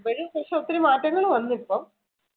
ഇപ്പോഴും പക്ഷെ ഒത്തിരി മാറ്റങ്ങൾ വന്നു ഇപ്പം.